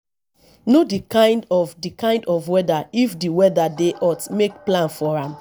know di kind of di kind of weather if di weather dey hot make plans for am